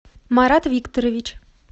марат викторович